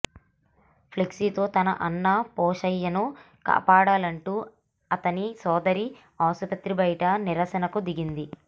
ఫ్లెక్సీతో తన అన్న పోశయ్యను కాపాడాలంటూ అతని సోదరి ఆసుపత్రి బయట నిరసనకు దిగింది